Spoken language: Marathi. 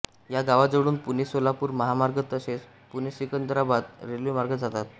या गावाजवळून पुणेसोलापूर महामार्ग तसेच पुणेसिकंदराबाद रेल्वे मार्ग जातात